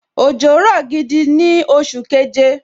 Òjò rọ̀ gidi gan ni oṣù keje